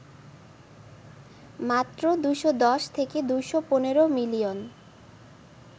মাত্র ২১০ থেকে ২১৫ মিলিয়ন